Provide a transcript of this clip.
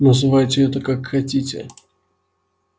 называйте это как хотите